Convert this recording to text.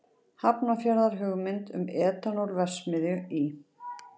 Hafnarfjarðar hugmynd um etanól-verksmiðju í